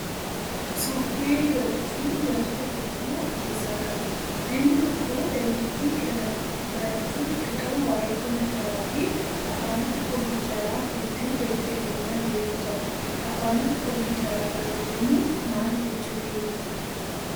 Sooftiweerii barachuun wantoota hedduu of keessaa qaba. Namni tokko dandeettii kana barachuuf dirqama waayee kompiitaraa fi afaanota kompiitaraa hedduu gadi fageenyaan beekuu qaba. Afaanota kompiitaraa gaafa jennu maal jechuu keeyaa?